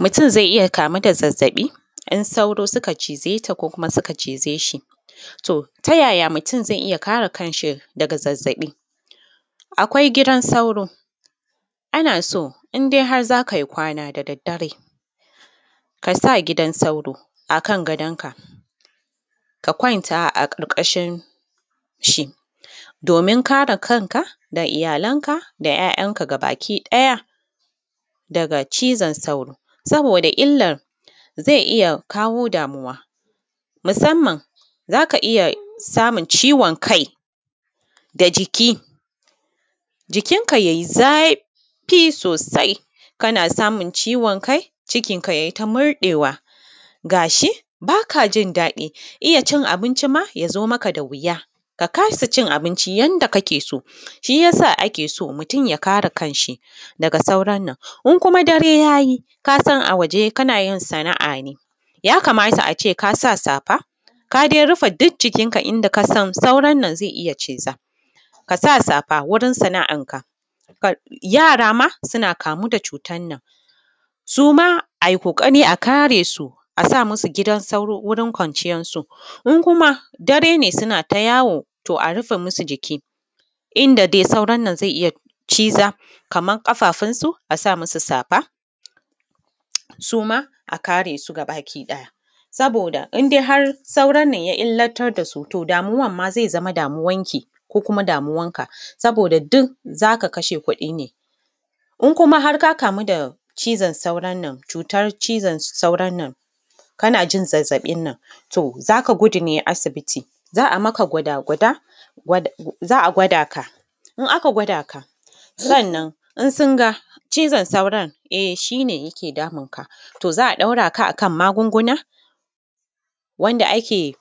Mutum zai iya kamu da zazzaɓi in sauro suka cize ta ko kuma suka cize shi. To, ta yaya mutum zai iya kare kanshi daga zazzaɓi? Akwai gidan sauro. Ana so in har dai za ka yi kwana da daddare, ka sa gidan sauro a kan gadonka, ka kwanta a ƙarƙashinshi, domin kare kanka, da iyalanka, da 'ya'yanka gabakiɗaya, daga cizon sauro, saboda illar zai iya kawo damuwa, musamman, za ka iya samun ciwon kai, da jiki. Jikinka ya yi zafi sosai, kana samun ciwon kai, cikinka ya yi ta murɗewa, ga shi ba ka jin daɗi, iya cin abinci ma ya zo maka da wuya, ka kasa cin abinci yanda kake so. Shi ya sa ake so mutum ya kare kanshi daga sauron nan. In kuma dare ya yi ka san a waje kana yin sana'a ne, ya kamata a ce ka sa safa, ka dai rufe duk jikinka inda ka san sauron nan zai iya ciza. ka sa safa wurin sana'arka. Yara ma suna kamu da cutar nan. Su ma a yi ƙoƙari a kare su, a sa musu gidan sauro wurin kwanciyarsu. In kuma dare ne suna ta yawo, to a rufe musu jiki. Inda dai sauron nan zai iya ciza, kamar ƙafafunsu, a sa musu safa, su ma, a kare su gabakiɗaya, saboda in dai har sauron nan ya illatar da su, to damuwar ma zai zama damuwarki, ko kuma damuwarka, saboda duk za ka kashe kuɗi ne. In kuma har ka kamu da cizon sauron nan, cutar cizan sauron nan, kana jin zazzaɓin nan, to za ka gudu ne asibiti, za a maka gwada-gwada, wadda, za a gwada ka. In aka gwada ka, sannan, in sun ga, cizon sauron, e shi ne yake damun ka, to za a ɗora ka a kan magunguna, wanda ake,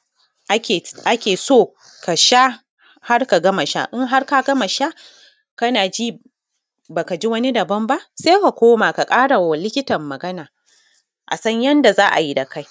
ake so ka sha, har ka gama sha. In har ka gama sha, kana ji ba ka ji wani daban ba, sai ka koma ka ƙara ma likitan magana. a san yanda za a yi da kai.